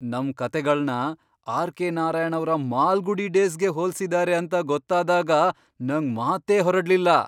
ನಮ್ ಕಥೆಗಳ್ನ ಆರ್.ಕೆ. ನಾರಾಯಣ್ ಅವ್ರ ಮಾಲ್ಗುಡಿ ಡೇಸ್ಗೆ ಹೋಲ್ಸಿದಾರೆ ಅಂತ ಗೊತ್ತಾದಾಗ ನಂಗ್ ಮಾತೇ ಹೊರಡ್ಲಿಲ್ಲ!